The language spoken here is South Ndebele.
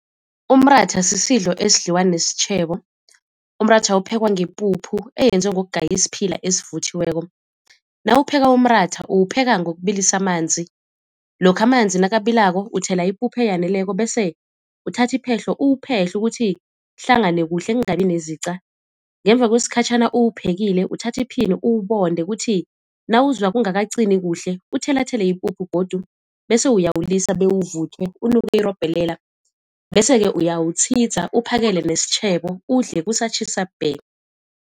Umratha sisidlo esidliwa nesitjhebo, umratha uphekwa ngepuphu eyenziwe ngokugaya isiphila esivuthiweko. Nawupheka umratha uwupheka ngokubilisa amanzi, lokha amanzi nakabilako uthela ipuphu eyaneleko bese uthatha iphehlo uwuphehle ukuthi kuhlangane kuhle kungabi nezica. Ngemva kwesikhatjhana uwuphekile uthatha iphini uwubonde, kuthi nawuzwa kungakacini kuhle uthelathele ipuphu godu bese uyawulisa bewuvuthwe, unuke irobhelela bese-ke uyawutshidza uphakele nesitjhebo udle kusatjhisa bhe.